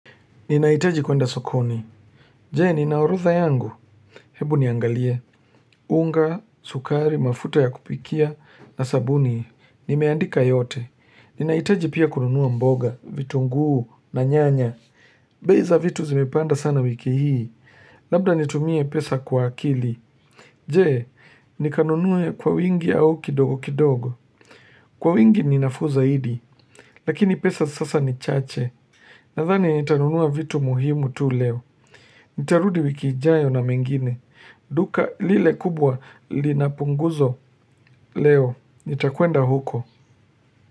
Ninahitaji kwenda sokoni. Je, ninaorodha yangu. Hebu niangalie. Unga, sukari, mafuta ya kupikia, na sabuni. Nimeandika yote. Ninahitaji pia kununua mboga, vitu nguu, na nyanya. Beiza vitu zimepanda sana wiki hii. Labda nitumie pesa kwa akili. Je, nikanunue kwa wingi au kidogo kidogo. Kwa wingi ninafuuza idi. Lakini pesa sasa ni chache. Nadhani nitanunua vitu muhimu tu leo. Nitarudi wikiijayo na mengine duka lile kubwa linapunguzo leo nitakwenda huko.